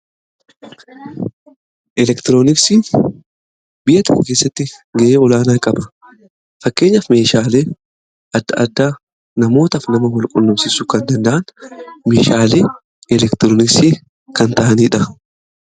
elektirooniksi biyya tokko keessatti ga'ee olaanaa qaba fakkeenyaf meeshaalee adda adda namootaf nama walqullumsisu kan danda'an meeshaale elektiroonisii kan ta'aniidha